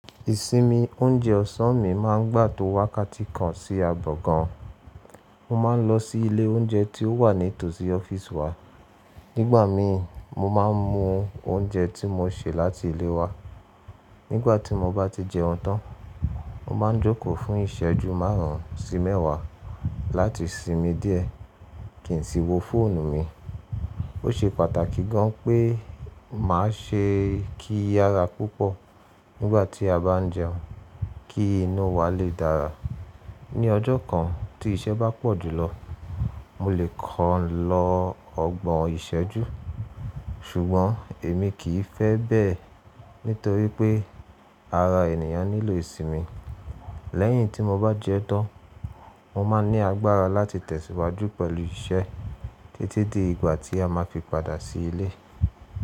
Ìsinmi oúnjẹ ọ̀sán mi máa ń gbà tó wàkáàkiti kan sí ààgò kan. Mo ma n lọ sí ilé oúnjẹ tí ó wà ní tòsí ọ́fíìsì wa. Nígbà mi mo ma n mu oúnjẹ tí mo ṣe láti ilé wa. Nígbà tí mo bá ti jẹun tán, mo ma n jókòó fún ìsẹ́jú márùn ún sí mẹ́wàá láti sinmi díẹ̀ kí n sì wo fóònù mi. Ó ṣe pàtàkì gan pé màá ṣe kíyára púpọ̀ nígbà tí a bá n jẹun kí inú wa lè dára. Ní ọjọ́ kan tí iṣẹ́ bá pọ̀ jùlọ, mo lè kàn lọ ọgbọ̀n ìsẹ́jú, ṣùgbọ́n èmi kì í fẹ́ bẹ́ẹ̀ nítorí pé ara ènìyàn nílò ìsinmi. Lẹ́yìn tí mo bá jẹun tán, mo máa n ní agbára láti tẹ̀síwájú pẹ̀lú iṣẹ́ títí di ìgbà tí a ma fi padà sí ilé.